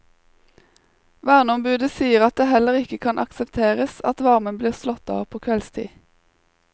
Verneombudet sier at det heller ikke kan aksepteres at varmen blir slått av på kveldstid.